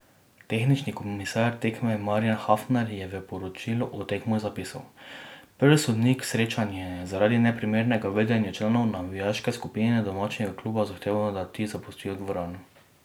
Tehnični komisar tekme Marjan Hafnar je v poročilu o tekmi zapisal: "Prvi sodnik srečanja je zaradi neprimernega vedenja članov navijaške skupine domačega kluba zahteval, da ti zapustijo dvorano.